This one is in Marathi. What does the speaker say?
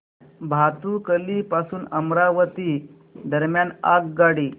भातुकली पासून अमरावती दरम्यान आगगाडी